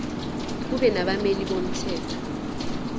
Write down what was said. kube nabameli bomthetho